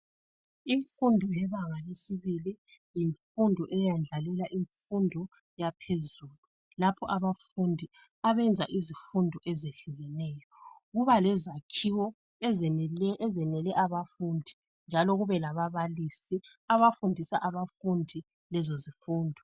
Imfundo yebanga lesibili, imfundo eyendlalela imfundo yaphezulu lapho abafundi abenza izifundo ezehlukeneyo kuba lezakhiwo ezinike ezenele abafundi njalo kube lababalisi abafundisa abafundi lezo zifundo.